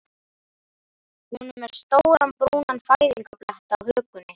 Hún er með stóran brúnan fæðingarblett á hökunni.